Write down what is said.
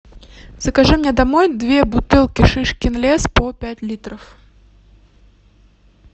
закажи мне домой две бутылки шишкин лес по пять литров